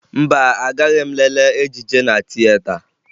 Mba, agaghị m lelee ejije na tieta